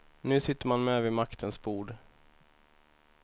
Nu sitter man med vid maktens bord.